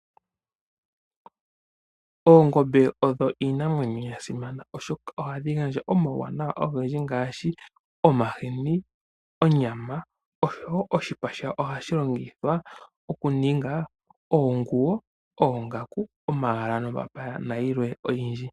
Oongombe odho iinamwenyo ya simana oshoka ohadhi gandja omauwanawa ogendji ngaashi omahini, onyama, oshowo oshipa shawo ohashi longithwa okuninga oonguwo, oongaku nomapaya nayilwe oyindji.